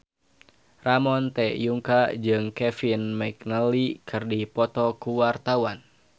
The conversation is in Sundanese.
Ramon T. Yungka jeung Kevin McNally keur dipoto ku wartawan